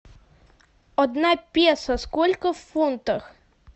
одна песо сколько в фунтах